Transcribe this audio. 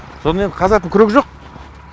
сонымен қазатын күрек жоқ